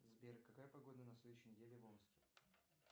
сбер какая погода на следующей неделе в омске